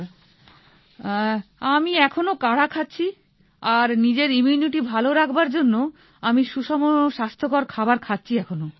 ঠিক আছে আমি এখোনো কাঢ়া খাচ্ছি আর নিজের ইমিউনিটি ভাল রাখবার জন্য আমি সুষম স্বাস্থ্যকর খাবার খাচ্ছি এখনো